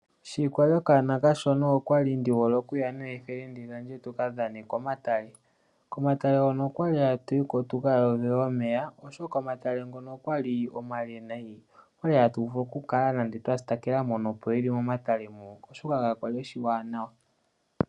Monale aanona unene tuu yaamati okwali yehole okuyoga nenge okumbwinda momeya unene tuu ngele ya ka litha. Oyali ne haya mbwindi momeya ngoka kaage shi omale.